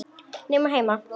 Nema heima.